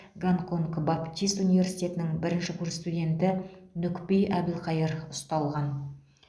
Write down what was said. гонконг баптист университетінің бірінші курс студенті нүкпи әбілқайыр ұсталған